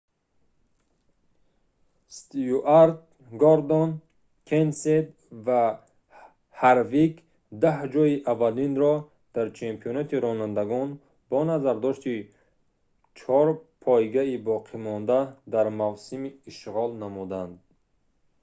стюарт гордон кенсет ва ҳарвик даҳ ҷойи аввалинро дар чемпионати ронандагон бо назардошти чор пойгаи боқимонда дар мавсим ишғол намуданд